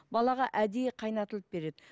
балаға әдейі қайнатылып береді